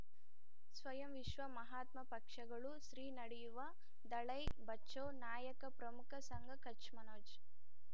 ಸ್ವಯಂ ವಿಶ್ವ ಮಹಾತ್ಮ ಪಕ್ಷಗಳು ಶ್ರೀ ನಡೆಯುವ ದಲೈ ಬಚೌ ನಾಯಕ ಪ್ರಮುಖ ಸಂಘ ಕಚ್ ಮನೋಜ್